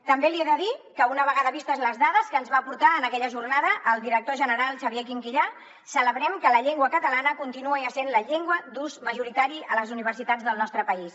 també li he de dir que una vegada vistes les dades que ens va aportar en aquella jornada el director general xavier quinquillà celebrem que la llengua catalana continuï essent la llengua d’ús majoritari a les universitats del nostre país